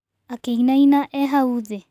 Akĩinaina e hau thĩ.